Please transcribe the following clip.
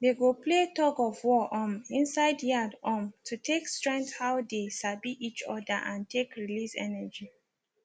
they go play tug of war um inside yard um to take strength how they sabi each other and take release energy